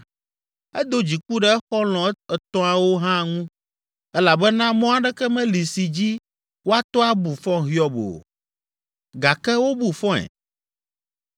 Edo dziku ɖe exɔlɔ̃ etɔ̃awo hã ŋu elabena mɔ aɖeke meli si dzi woato abu fɔ Hiob o, gake wobu fɔe.